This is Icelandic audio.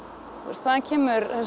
þaðan kemur